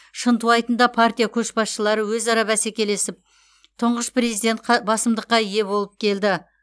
шынтуайтында партия көшбасшылары өзара бәсекелесіп тұңғыш президент қы басымдыққа ие болып келді